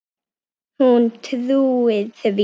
Hún trúir því.